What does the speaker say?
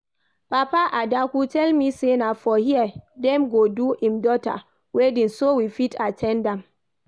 Papa Adaku tell me say na for here dem go do im daughter wedding so we fit at ten d am